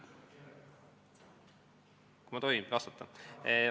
Kas ma tohin vastata?